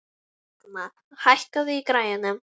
Högna, hækkaðu í græjunum.